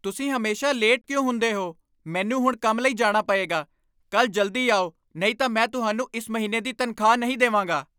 ਤੁਸੀਂ ਹਮੇਸ਼ਾ ਲੇਟ ਕਿਉਂ ਹੁੰਦੇ ਹੋ? ਮੈਨੂੰ ਹੁਣ ਕੰਮ ਲਈ ਜਾਣਾ ਪਏਗਾ! ਕੱਲ੍ਹ ਜਲਦੀ ਆਓ ਨਹੀਂ ਤਾਂ ਮੈਂ ਤੁਹਾਨੂੰ ਇਸ ਮਹੀਨੇ ਦੀ ਤਨਖ਼ਾਹ ਨਹੀਂ ਦੇਵਾਂਗਾ।